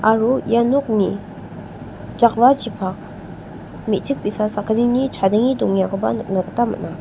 aro ia nokni jakrachipak me·chik bi·sa sakgnini chadenge dongengakoba nikna gita man·a.